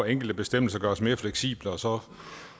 enkelte bestemmelser gøres mere fleksible og så